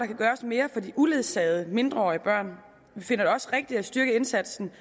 kan gøres mere for de uledsagede mindreårige børn vi finder det også rigtigt at styrke indsatsen